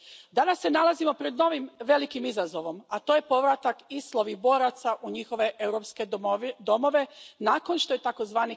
Danas se nalazimo pred novim velikim izazovom, a to je povratak ISIL ovih boraca u njihove europske domovine nakon što je tzv.